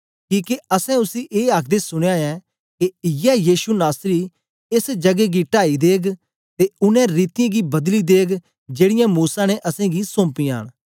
किके असैं उसी ए आखदे सुनया ऐ के इयै यीशु नासरी एस जगै गी टाई देग ते उनै रीतियें गी बदली देग जेड़ीयां मूसा ने असेंगी सोंपियां न